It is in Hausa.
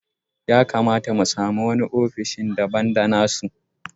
Ya kamata mu sami wani ofishi daban da na su.